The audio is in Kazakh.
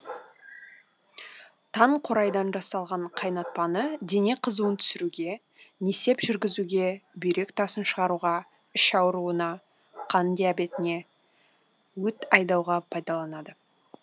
таңқурайдан жасалған қайнатпаны дене қызуын түсіруге несеп жүргізуге бүйрек тасын шығаруға іш ауруына қант диабетіне өт айдауға пайдаланады